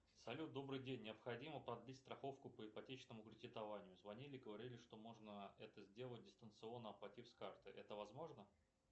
салют добрый день необходимо продлить страховку по ипотечному кредитованию звонили и говорили что можно это сделать дистанционно оплатив с карты это возможно